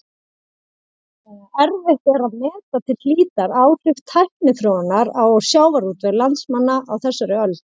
Erfitt er að meta til hlítar áhrif tækniþróunar á sjávarútveg landsmanna á þessari öld.